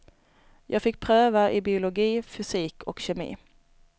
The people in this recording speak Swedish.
Jag fick pröva i biologi, fysik och kemi.